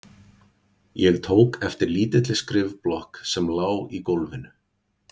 Ég tók eftir lítilli skrifblokk sem lá í gólfinu.